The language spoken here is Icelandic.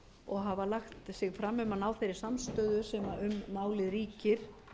og hafa lagt sig fram um að ná þeirri samstöðu sem um málið ríkir